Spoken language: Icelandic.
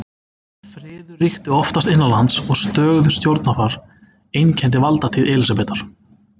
Friður ríkti oftast innanlands og stöðugt stjórnarfar einkenndi valdatíð Elísabetar.